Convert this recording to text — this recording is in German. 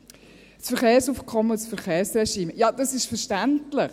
Das Verkehrsaufkommen und das Verkehrsregime: Ja, das ist verständlich.